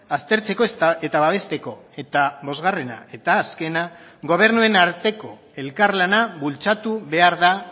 aztertzeko eta babesteko eta bosgarrena eta azkena gobernuen arteko elkarlana bultzatu behar da